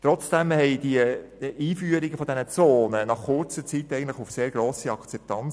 Trotzdem stiessen die Einführungen dieser Zonen nach kurzer Zeit eigentlich auf sehr grosse Akzeptanz.